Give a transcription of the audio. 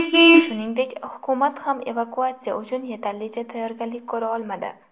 Shuningdek, hukumat ham evakuatsiya uchun yetarlicha tayyorgarlik ko‘ra olmadi.